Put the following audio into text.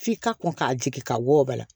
F'i ka kɔn k'a jigin ka bɔ ba la